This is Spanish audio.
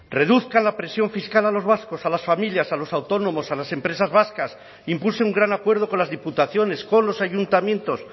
reduzcan la presión fiscal a los vascos a las familias a los autónomos a las empresas vascas impulse un gran acuerdo con las diputaciones con los ayuntamientos